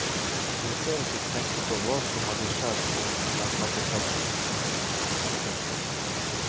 Jeg tør ikke tenke på hva som hadde skjedd om den hadde falt ut. punktum